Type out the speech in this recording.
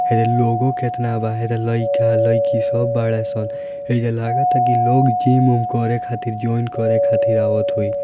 हेदे लोगो केतना बा हेदे लइका लइकी है सब बाड़े सन हेइजा लागता की लोग जिम उम को जॉइन करे खातिर आवत होइ।